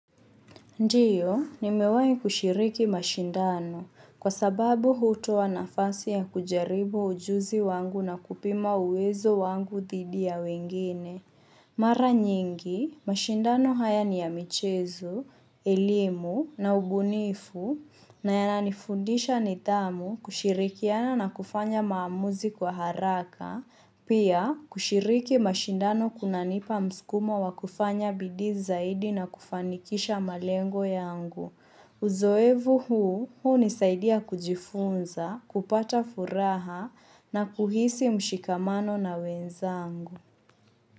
Ndiyo, nimewa kushiriki mashindano kwa sababu huto wanafasi ya kujaribu ujuzi wangu na kupima uwezo wangu dhidi ya wengine. Mara nyingi, mashindano haya ni ya michezo, elimu na ubunifu na yananifundisha nidhamu kushirikiana na kufanya maamuzi kwa haraka, pia kushiriki mashindano kuna nipa mskumo wa kufanya bidi zaidi na kufanikisha malengo yangu. Uzoevu huu, huu nisaidia kujifunza, kupata furaha na kuhisi mshikamano na wenzangu.